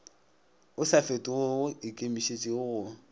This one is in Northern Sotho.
o sa fetogego ikemišetšeng go